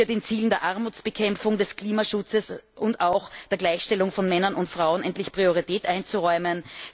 den Zielen der Armutsbekämpfung, des Klimaschutzes und auch der Gleichstellung von Männern und Frauen endlich Priorität einzuräumen.